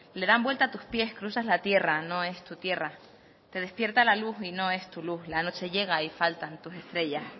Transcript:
le dan vuelta a tus pies cruzas la tierra no es tu tierra te despierta la luz y no es tu luz la noche llega y faltan tus estrellas